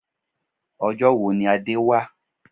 Ọjọ́ wo ni Adé wá?